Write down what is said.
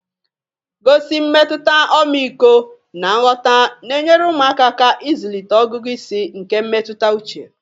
gosi mmetụta ọmịiko na nghọta na-enyere ụmụaka aka ịzụlite ọgụgụ isi nke mmetụta uche